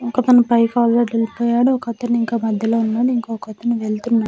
ఇంక మనం పోయాడు ఒకతను ఇంకా మధ్యలో వున్నాడు ఇంకోకతను వెళ్తున్నా--